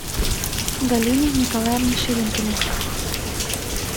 галине николаевне ширинкиной